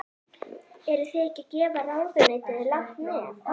Eruð þið ekki að gefa ráðuneytinu langt nef?